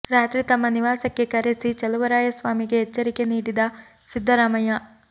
ರಾತ್ರಿ ತಮ್ಮ ನಿವಾಸಕ್ಕೆ ಕರೆಸಿ ಚಲುವರಾಯ ಸ್ವಾಮಿಗೆ ಎಚ್ಚರಿಕೆ ನೀಡಿದ ಸಿದ್ದರಾಮಯ್ಯ